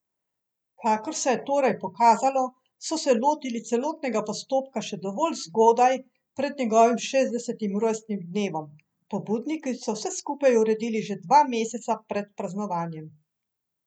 Kakor se je torej pokazalo, so se lotili celotnega postopka še dovolj zgodaj pred njegovim šestdesetim rojstnim dnevom, pobudniki so vse skupaj uredili že dva meseca pred praznovanjem.